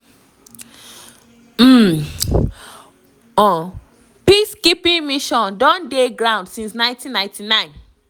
um one un peacekeeping mission don dey ground since 1999.